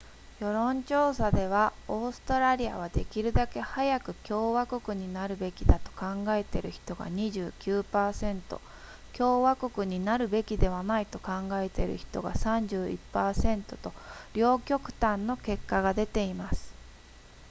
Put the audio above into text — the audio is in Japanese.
世論調査ではオーストラリアはできるだけ早く共和国になるべきだと考えている人が 29% 共和国になるべきではないと考えている人が 31% と両極端の結果が出ています